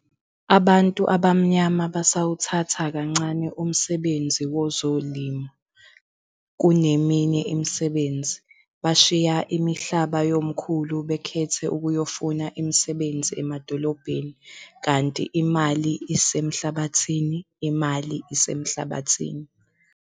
Abantu abamnyama basawuthatha kancane umsebenzi wezolimo kuneminye imisebenzi, bashiya imihlaba yomkhulu bekhethe ukuyofuna imisebenzi emadolobheni kanti imali isemhlabathini imali isemhlabathini.